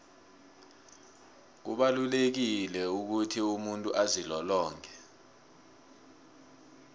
kubalulekile ukuthi umuntu azilolonge